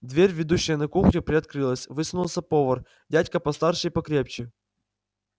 дверь ведущая на кухню приоткрылась высунулся повар дядька постарше и покрепче